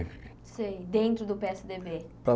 Sei, dentro do pê ésse dê bê.